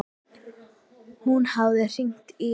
Hún hafði hringt í